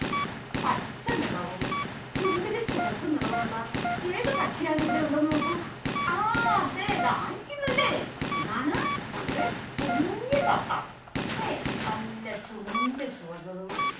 പച്ച നിറവും ചുണ്ടിൽ ചുവപ്പ് നിറവുമുള്ള ഏതു പക്ഷിയാന്ന് ഇവിടെ ഉണ്ടോന്ന് നോക്കൂ ആ ദേ ദാ ഇരുക്കുന്നുല്ലേ ഇതാണ് നമ്മുടെ കുഞ്ഞു തത്ത ല്ലെ നല്ല ചുണ്ട് ചുവന്നതും